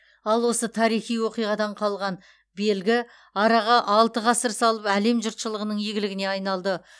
ал осы тарихи оқиғадан қалған белгі араға алты ғасыр салып әлем жұртшылығының игілігіне айналды